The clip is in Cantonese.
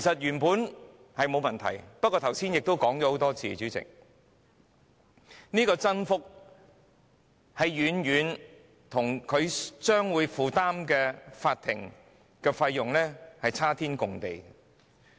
原本並無問題，但剛才已多次提及，主席，增幅與市民所負擔的法律費用有龐大差距。